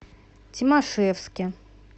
тимашевске